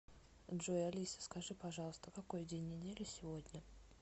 джой алиса скажи пожалуйста какой день недели сегодня